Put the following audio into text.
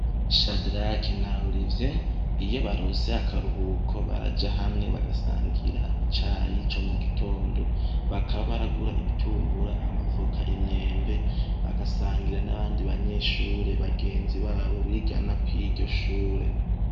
Shadarake na Oriviye iyo baronse akaruhuko baraja hamwe bagasangira icayi co mugitondo, bakaba baragura ibitumbura, amavoka, imyembe bagasangira n'abandi banyeshure bagenzi babo bigana kuriryo shure.